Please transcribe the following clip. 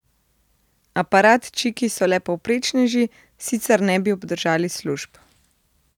Aparatčiki so le povprečneži, sicer ne bi obdržali služb.